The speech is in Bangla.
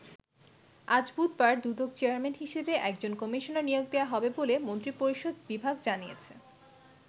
আজ বুধবার দুদক চেয়ারম্যান হিসেবে একজন কমিশনার নিয়োগ দেওয়া হবে বলে মন্ত্রিপরিষদ বিভাগ জানিয়েছে।